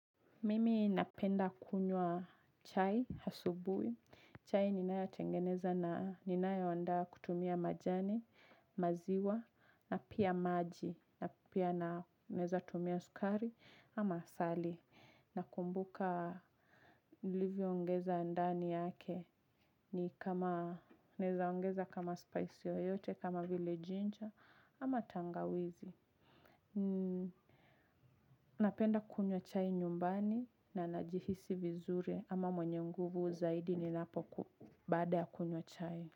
Mimi napenda kunywa chai asubuhi. Chai ninayo tengeneza na ninayo andaa kutumia majani maziwa na pia maji na pia na naweza tumia sukari ama asali. Nakumbuka livyo ongeza ndani yake ni kama naweza ongeza kama spice yoyote kama vile ginger ama tangawizi. Napenda kunywa chai nyumbani na najihisi vizuri ama mwenye nguvu zaidi ni napo baada ya kunywa chai.